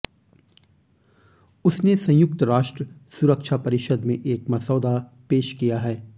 उसने संयुक्त राष्ट्र सुरक्षा परिषद में एक मसौदा पेश किया है